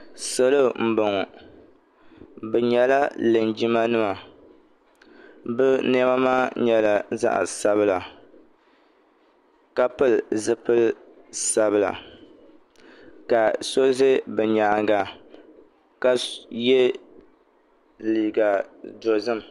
Salo m-bɔŋɔ bɛ nyɛla linjimanima bɛ nɛma maa nyɛla zaɣ'sabila ka pili zipili sabila ka so ʒe bɛ nyaaŋa ka ye liiga dozim.